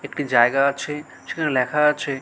একটি জায়গা আছে সেখানে লেখা আছে--